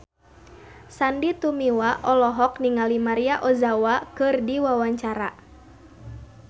Sandy Tumiwa olohok ningali Maria Ozawa keur diwawancara